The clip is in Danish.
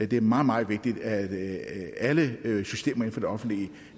det er meget meget vigtigt at alle systemer inden for det offentlige